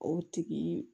O tigi